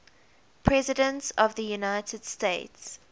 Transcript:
presidents of the united states